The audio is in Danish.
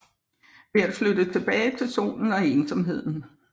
Ved at flytte tilbage til solen og ensomheden